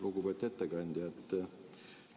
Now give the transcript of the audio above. Lugupeetud ettekandja!